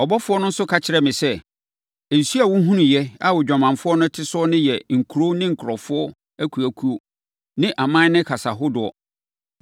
Ɔbɔfoɔ no nso ka kyerɛɛ me sɛ, “Nsuo a wohunuiɛ a odwamanfoɔ no te so no yɛ nkuro ne nkurɔfoɔ akuakuo ne aman ne kasa hodoɔ.